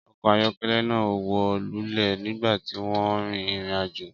Ọkọ̀ ayọ́kẹ́lẹ́ náà wó lulẹ̀ nígbà tí wọ́n ń rin ìrìn-àjò.